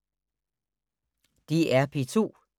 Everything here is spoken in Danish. DR P2